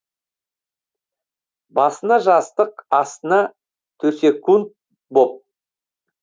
басына жастық астына төсекунд боп